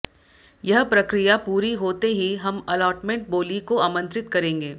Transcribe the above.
यह प्रक्रिया पूरी होते ही हम अलॉटमेंट बोली को आमंत्रित करेंगे